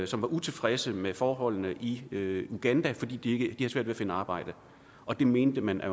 som var utilfredse med forholdene i uganda fordi de havde svært ved at finde arbejde og det mente man at